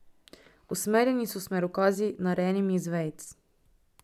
Usmerjeni so s smerokazi, narejenimi iz vejic.